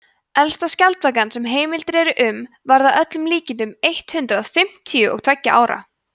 elsta skjaldbakan sem heimildir eru um varð að öllum líkindum eitt hundruð fimmtíu og tveggja ára